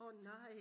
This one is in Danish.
åh nej